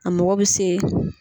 A mɔgɔ bɛ se.